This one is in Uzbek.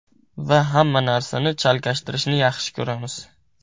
Va hamma narsani chalkashtirishni yaxshi ko‘ramiz.